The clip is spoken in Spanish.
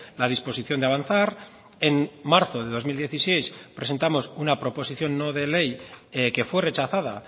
la disposición de avanzar en marzo de dos mil dieciséis presentamos una proposición no de ley que fue rechazada